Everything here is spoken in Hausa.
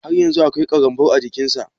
Har yanzun akwai ƙarambau a jiƙin sa.